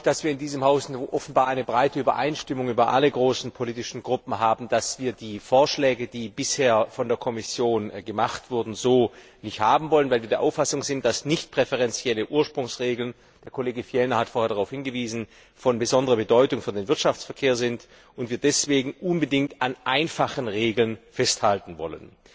Ich freue mich, dass wir in diesem Haus offenbar eine breite Übereinstimmung in allen großen politischen Gruppen haben, dass wir die Vorschläge, die bisher von der Kommission gemacht wurden, so nicht haben wollen, weil wir der Auffassung sind, dass nichtpräferenzielle Ursprungsregeln der Kollege Fjellner hat vorhin darauf hingewiesen von besonderer Bedeutung für den Wirtschaftsverkehr sind, und wir deswegen unbedingt an einfachen Regeln festhalten wollen.